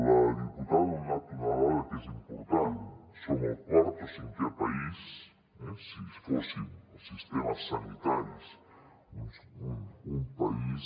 la diputada ha donat una dada que és important som el quart o cinquè país si fóssim els sistemes sanitaris un país